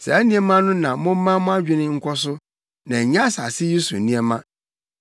Saa nneɛma no na momma mo adwene nkɔ so, na ɛnyɛ asase yi so nneɛma.